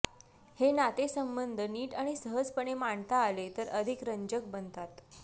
हे नातेसंबंध नीट आणि सहजपणे मांडता आले तर अधिक रंजक बनतात